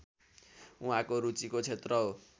उहाँको रुचिको क्षेत्र हो